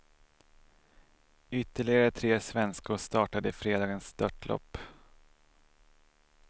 Ytterligare tre svenskor startade i fredagens störtlopp.